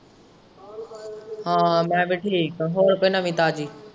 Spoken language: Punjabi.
ਹਾਂ ਮੈਂ ਵੀ ਠੀਕ ਆ ਹੋਰ ਕੋਈ ਨਵੀ ਤਾਜ਼ੀ।